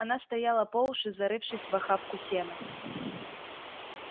она стояла по уши зарывшись в охапку сена